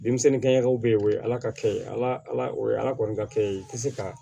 Denmisɛnninkɛw bɛ ye o ye ala ka kɛ ye ala ala o ye ala kɔni ka kɛ ye i tɛ se ka